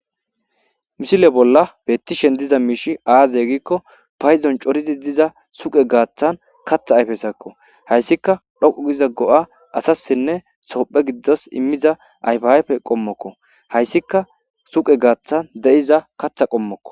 Misile bola betishen diza mishi Aze giko paydon corid diza suqe gaththan kaththa ayfezakko haysikka dhoqu giza go'a asasine sophethas imiza ayifa ayife qomokko haysikka suqe gaththan de'iza kaththa qomokko